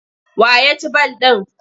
Wa ya ci ball ɗin?